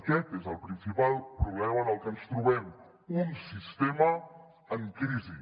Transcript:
aquest és el principal problema amb el que ens trobem un sistema en crisi